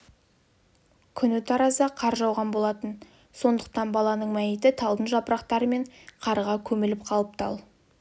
күні таразда қар жауған болатын сондықтан баланың мәйіті талдың жапырақтары мен қарға көміліп қалыпты ал